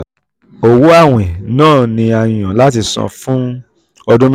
owó awin náà ni a yàn láti san fún um ọdún um mẹ́ta.